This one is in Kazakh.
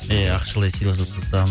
иә ақшалай сыйлық жасасам